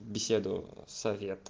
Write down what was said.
беседовал с